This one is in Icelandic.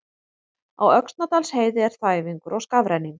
Á Öxnadalsheiði er þæfingur og skafrenningur